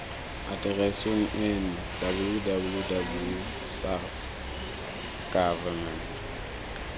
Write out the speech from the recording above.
atereseng eno www sars gov